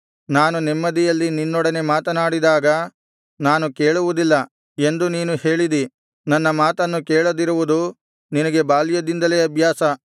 ನಾನು ನೆಮ್ಮದಿಯಲ್ಲಿ ನಿನ್ನೊಡನೆ ಮಾತನಾಡಿದಾಗ ನಾನು ಕೇಳುವುದಿಲ್ಲ ಎಂದು ನೀನು ಹೇಳಿದಿ ನನ್ನ ಮಾತನ್ನು ಕೇಳದಿರುವುದು ನಿನಗೆ ಬಾಲ್ಯದಿಂದಲೇ ಅಭ್ಯಾಸ